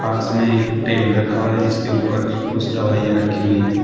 पास में ही एक टेबल रखा है जिसके ऊपर कुछ दवाइयां रखी हुई हैं।